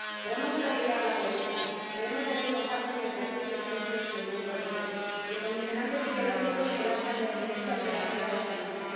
Podemos erradicar la pobreza, pero hemos de despojarnos de prejuicios propios del mundo rico y de condicionantes ideológicos que lastran la excelencia operativa de esta lucha.